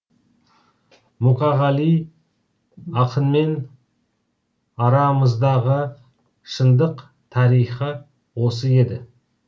мұқағали ақынмен арамыздағы шындық тарихы осы еді